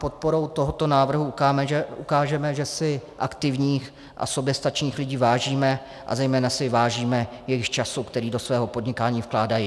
Podporou tohoto návrhu ukážeme, že si aktivních a soběstačných lidí vážíme a zejména si vážíme jejich času, který do svého podnikání vkládají.